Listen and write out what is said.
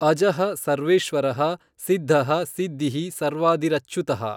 ಅಜಃ ಸರ್ವೇಶ್ವರಃ ಸಿದ್ಧಃ ಸಿದ್ಧಿಃ ಸರ್ವಾದಿರಚ್ಯುತಃ।